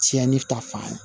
Tiɲɛni ta fan